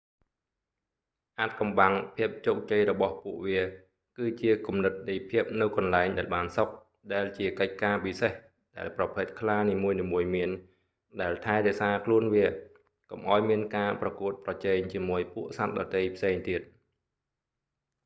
អាថ៌កំបាំងភាពជោគជ័យរបស់ពួកវាគឺជាគំនិតនៃភាពនៅកន្លែងដែលបានសុខ ដែលជាកិច្ចការពិសេសដែលប្រភេទខ្លានីមួយៗមាន ដែលថែរក្សាខ្លួនវា កុំឱ្យមានការប្រកួតប្រជែងជាមួយពួកសត្វដទៃផ្សេងទៀត